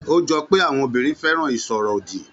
Ó jọ pé àwọn obìnrin fẹ́ràn ìsọ̀rọ̀ òdì